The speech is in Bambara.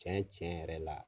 Cɛn cɛn yɛrɛ la